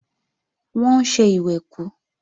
Wọ́n ń ṣe ìwẹ̀kú